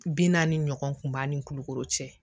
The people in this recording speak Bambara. Bi naani ɲɔgɔn kun b'a ni kulukoro cɛ